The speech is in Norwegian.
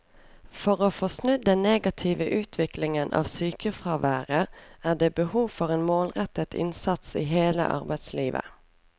For å få snudd den negative utviklingen av sykefraværet er det behov for en målrettet innsats i hele arbeidslivet.